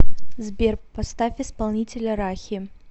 сбер поставь исполнителя рахи